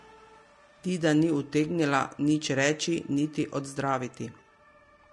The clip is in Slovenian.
Dida ni utegnila nič reči niti odzdraviti.